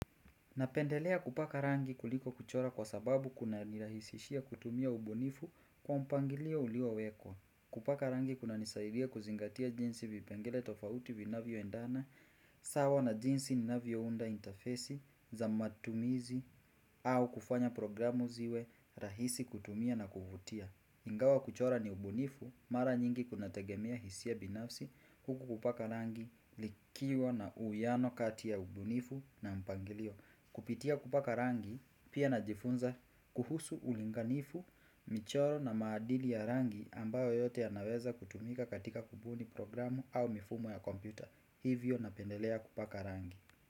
Napendelea kupaka rangi kuliko kuchora kwa sababu kunanirahisishia kutumia ubunifu kwa mpangilio uliyowekwa. Kupaka rangi kunanisaidia kuzingatia jinsi vipengele tofauti vinavyoendana, sawa na jinsi ninavyounda intafesi, za matumizi, au kufanya programu ziwe rahisi kutumia na kuvutia. Ingawa kuchora ni ubunifu mara nyingi kunategemia hisia binafsi huku kupaka rangi likiwa na uwiano kati ya ubunifu na mpangilio. Kupitia kupaka rangi pia najifunza kuhusu ulinganifu, michoro na maadili ya rangi ambayo yote yanaweza kutumika katika kubuni programu au mifumo ya kompyuta. Hivyo napendelea kupaka rangi.